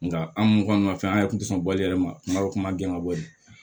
Nka an minnu kɔni ma fɛn an yɛrɛ tun tɛ sɔn bali yɛrɛ ma n ka kuma gɛlɛn ka bɔ yen